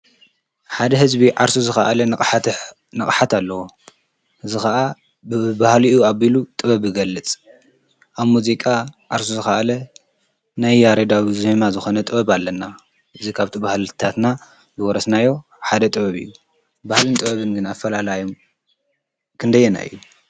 ሓደ ህዝቢ ዓርሱ ዝካአለ ንቅሓት አለዎ አዚ ከአ ብባህሊኡ ገይሩ ጥበብ ይገልፅ አብ ሙዚቃ ዓርሱ ዝከአለ ናይ ያሬዳዊ ዜማ ዝኮነ ጥብ አለና እዚ ካብቲ ባህልታትና ዝወረስናዮ ሓደ ጥበብ እዩ። ባህልን ጥበብን ግን አፈላላዮም ክንደየናይ እዩ።